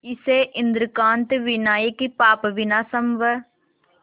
इसे इंद्रकांत विनायक पापविनाशम व